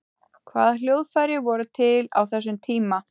hvaða hljóðfæri voru til á þessum tíma